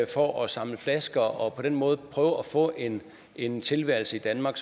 for at samle flasker og på den måde prøve at få en en tilværelse i danmark